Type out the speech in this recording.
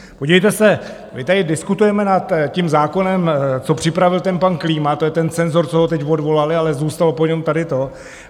Podívejte se, my tady diskutujeme nad tím zákonem, co připravil ten pan Klíma, to je ten cenzor, co ho teď odvolali, ale zůstalo po něm tady to.